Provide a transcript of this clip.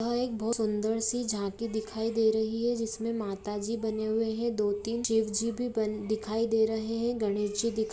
यहां एक बहुत सुंदर सी बड़ी झाँकी दिखाई दे रही है जिसमें माताजी बनी हुई है दो-तीन शिव जी भी दिखाई दे रहे हैं और गणेश जी दिखाई--